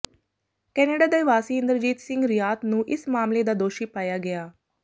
Canada ਦੇ ਵਾਸੀ ਇੰਦਰਜੀਤ ਸਿੰਘ ਰਿਆਤ ਨੂੰ ਇਸ ਮਾਮਲੇ ਦਾ ਦੋਸ਼ੀ ਪਾਇਆ ਗਿਆ